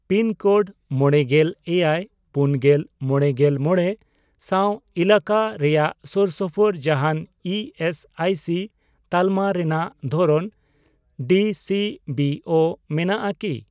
Pin code ᱢᱚᱲᱮᱜᱮᱞ ᱮᱭᱟᱭ ,ᱯᱩᱱᱜᱮᱞ ,ᱢᱚᱲᱮᱜᱮᱞ ᱢᱚᱲᱮ ᱥᱟᱣ ᱮᱞᱟᱠᱟ ᱨᱮᱱᱟᱜ ᱥᱳᱨᱥᱳᱯᱳᱨ ᱡᱟᱦᱟᱸᱱ ᱤ ᱮᱥ ᱟᱭ ᱥᱤ ᱛᱟᱞᱢᱟ ᱨᱮᱱᱟᱜ ᱫᱷᱚᱨᱚᱱ ᱰᱤᱥᱤᱵᱤᱳ ᱢᱮᱱᱟᱜ ᱟᱠᱤ ?